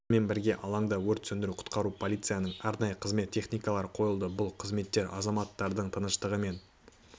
сонымен бірге алаңда өрт сөндіру құтқару полицияның арнайы қызмет техникалары қойылды бұл қызметтер азаматтардың тыныштығы мен